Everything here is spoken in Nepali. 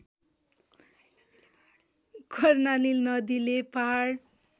कर्णाली नदीले पहाड